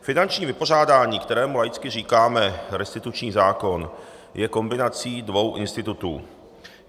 Finanční vypořádání, kterému laicky říkáme restituční zákon, je kombinací dvou institutů.